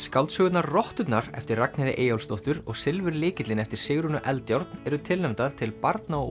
skáldsögurnar rotturnar eftir Ragnheiði Eyjólfsdóttur og Silfurlykillinn eftir Sigrúnu Eldjárn eru tilnefndar til barna og